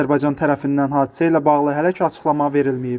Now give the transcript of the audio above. Azərbaycan tərəfindən hadisə ilə bağlı hələ ki açıqlama verilməyib.